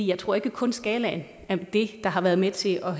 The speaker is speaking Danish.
jeg tror ikke kun skalaen er det der har været med til at